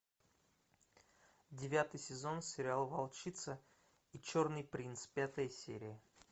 девятый сезон сериала волчица и черный принц пятая серия